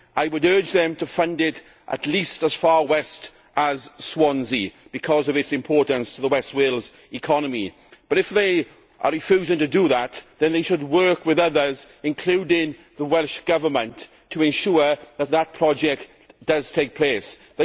I would urge them to fund it at least as far west as Swansea because of its importance to the West Wales economy. But if they are refusing to do that, they should work with others, including the Welsh Government, to ensure that the project goes ahead.